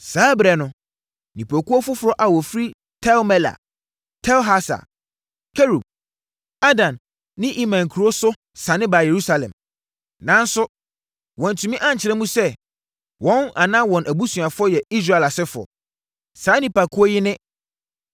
Saa ɛberɛ no, nnipakuo foforɔ a wɔfiri Tel-Mela, Tel-Harsa, Kerub, Adan ne Imer nkuro so sane baa Yerusalem. Nanso, wɔantumi ankyerɛ mu sɛ, wɔn anaa wɔn abusuafoɔ yɛ Israel asefoɔ. Saa nnipakuo yi ne: 1